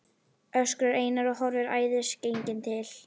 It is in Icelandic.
öskrar Einar og horfir æðisgenginn til